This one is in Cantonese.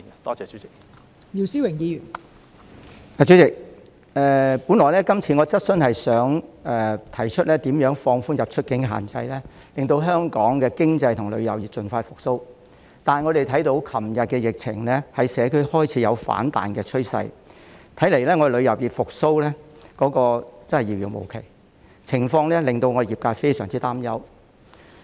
代理主席，本來我今次的質詢是想提出如何放寬出入境的限制，令香港的經濟和旅遊業盡快復蘇，但我們看到昨天的疫情在社區開始有反彈的趨勢，看來香港旅遊業復蘇真的是遙遙無期，情況令旅遊業界非常擔憂。